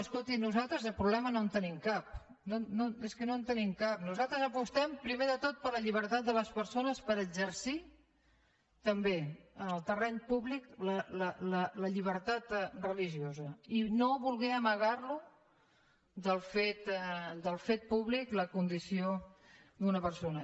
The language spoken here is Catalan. escolti nosaltres de problema no en tenim cap és que no en tenim cap nosaltres apostem primer de tot per la llibertat de les persones per exercir també en el terreny públic la llibertat religiosa i no voler amagar del fet públic la condició d’una persona